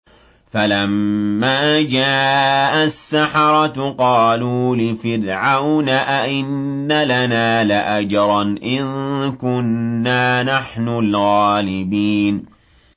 فَلَمَّا جَاءَ السَّحَرَةُ قَالُوا لِفِرْعَوْنَ أَئِنَّ لَنَا لَأَجْرًا إِن كُنَّا نَحْنُ الْغَالِبِينَ